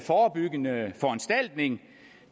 forebyggende foranstaltning